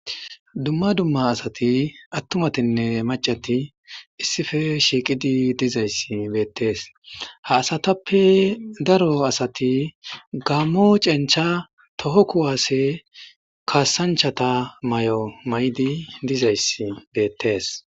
Dumma dumma asati atummatinne macati issippe shshiqidi dizayissa qoncciside besses qase daro asati gammo cencha too kuwasse kasanchchata mayo mayidi dizayissi bettes